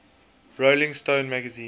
rolling stone magazine